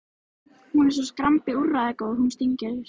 Hún er svo skrambi úrræðagóð, hún Steingerður.